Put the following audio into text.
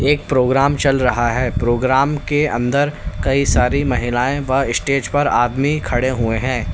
एक प्रोग्राम चल रहा है प्रोग्राम के अंदर कई सारी महिलाएं व स्टेज पर आदमी खड़े हुए हैं।